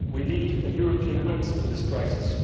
We need a European answer to this crisis.